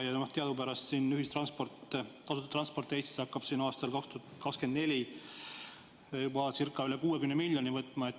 Teadupärast tasuta ühistransport Eestis hakkab aastal 2024 juba ca 60 miljonit eurot võtma.